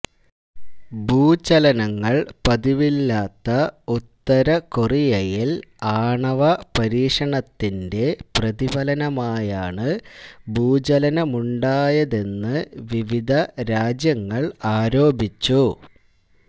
ഭൂചലനങ്ങള് പതിവില്ലാത്ത ഉത്തരകൊറിയയില് ആണവപരീക്ഷണത്തിന്റെ പ്രതിഫലനമായാണ് ഭൂചലനമുണ്ടായതെന്ന് വിവിധ രാജ്യങ്ങള് ആരോപിച്ചു